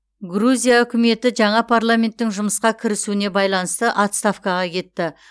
грузия үкіметі жаңа парламенттің жұмысқа кірісуіне байланысты отставкаға кетті